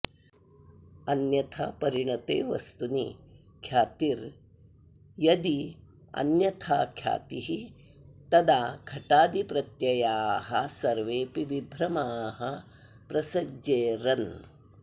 अन्यथापरिणते वस्तुनि ख्यातिर्यद्यन्यथाख्यातिः तदा घटादिप्रत्ययाः सर्वेऽपि विभ्रमाः प्रसज्येरन्